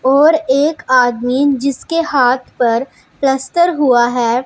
और एक आदमी जिसके हाथ पर प्लास्टर हुआ है।